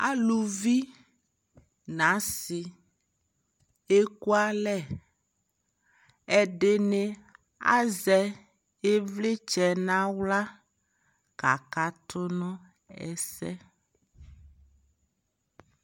Aluvi na asi ɛku alɛƐdini azɛ ιvlιtsɛ na ɣla ka ka tu nu ɛsɛ